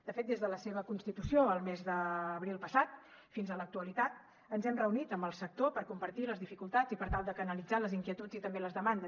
de fet des de la seva constitució el mes d’abril passat fins a l’actualitat ens hem reunit amb el sector per compartir les dificultats i per tal de canalitzar les inquietuds i també les demandes